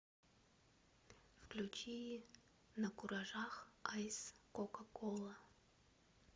включи накуражах айс кока кола